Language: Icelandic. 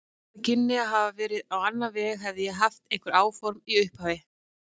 Þetta kynni að hafa farið á annan veg, hefði ég haft einhver áform í upphafi.